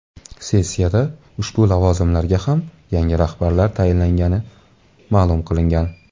Sessiyada ushbu lavozimlarga ham yangi rahbarlar tayinlangani ma’lum qilingan.